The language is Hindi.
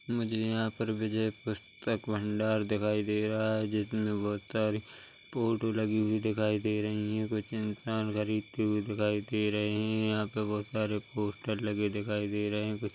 मुझे यहाँ पर विजय पुस्तक भंडार दिखाई दे रहा है जिसमें बहुत सारी फोटो लगी हुई दिखाई दे रही है कुछ इंसान खरीदते हुए दिखाई दे रहे है यहाँ पर बहोत सारे पोस्टर लगे दिखाई दे रहे है कुछ --